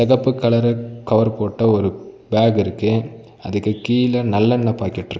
செவப்பு colour cover போட்ட ஒரு ஃபேக் இருக்கு அதுக்கு கீழ நல்லெண்ணெ பாக்கெட் இருக்--